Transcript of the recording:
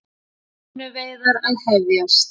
Hrefnuveiðar að hefjast